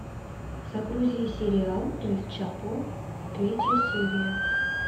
загрузи сериал эль чапо третья серия